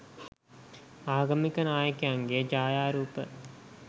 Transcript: ආගමික නායකයන්ගේ ඡායාරූප